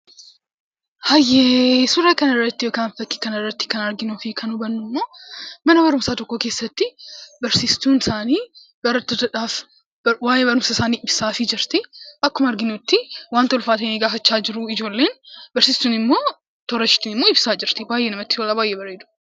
Suuraa kana irratti yookaan fakkii kana irraa kan nuti arginu fi hubannu, immoo mana barumsaa tokko keessatti barsiistuun isaanii barattootadhaaf waa'ee barumsa isaanii ibsaa jirtii. Akkuma arginutti, waanta itti ulfaate gaafachaa jiru ijoolleen barsiiftuun immoo toora isheetiin immoo ibsaa jirti baayyee namatti tolaa, baayyee bareeda.